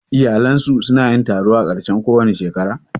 Iyalinsu su na yin taro a ƙarshen kowace shekara?